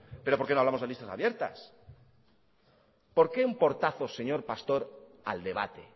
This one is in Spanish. pero por qué no hablamos de listas abiertas por qué un portazo señor pastor al debate